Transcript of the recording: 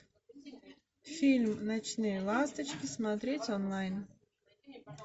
фильм ночные ласточки смотреть онлайн